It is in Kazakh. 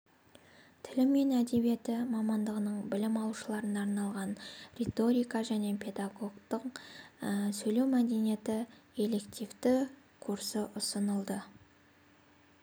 тілі мен әдебиеті мамандығының білім алушыларына арналған риторика және педагогтың сөйлеу мәдениеті элективті курсы ұсынылды